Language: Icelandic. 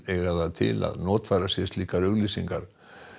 eiga það til að notfæra sér slíkar auglýsingar